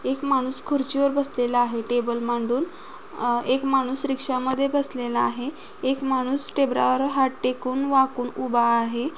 एक माणूस खुर्ची वर बसलेला आहे टेबल मांडून. अ एक माणूस रिक्षा मध्ये बसलेला आहे. एक माणूस टेबलावर हात टेकून वाकून उभा आहे.